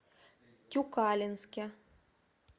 тюкалинске